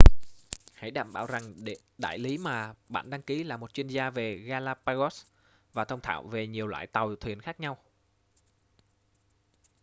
hãy đảm bảo rằng đại lý mà bạn đăng ký là một chuyên gia về galapagos và thông thạo về nhiều loại tàu thuyền khác nhau